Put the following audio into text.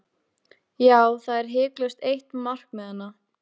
Já, það er hiklaust eitt markmiðanna.